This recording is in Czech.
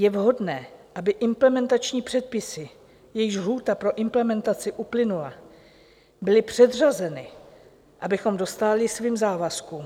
Je vhodné, aby implementační předpisy, jejichž lhůta pro implementaci uplynula, byly předřazeny, abychom dostáli svým závazkům.